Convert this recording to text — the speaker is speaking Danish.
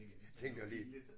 Jeg tænkte også lige